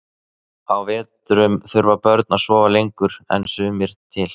Á vetrum þurfa börn að sofa lengur en að sumri til.